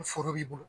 Foro b'i bolo